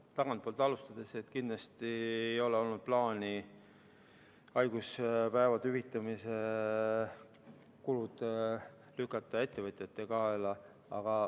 Tagantpoolt alustades: kindlasti ei ole olnud plaani lükata haiguspäevade hüvitamise kulud ettevõtjate kaela.